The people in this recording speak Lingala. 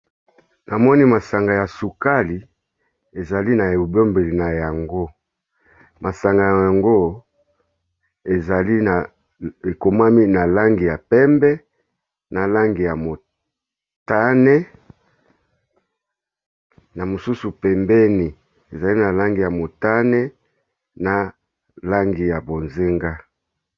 Na moni masanga ya sukali ezali na ebombeli na yango, masanga yango ezali na, ekomami na langi ya pembe, na langi ya motane, na mosusu pembeni ezali na langi ya motane, na langi ya bozenga .